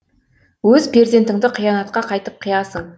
өз перзентіңді қиянатқа қайтып қиясың